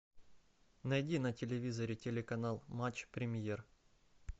найди на телевизоре телеканал матч премьер